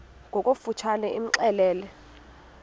ngokofu tshane imxelele